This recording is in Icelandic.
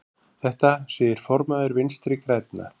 Þetta segir formaður Vinstri grænna.